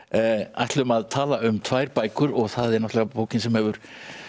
ætlum að tala um tvær bækur og það er bókin sem hefur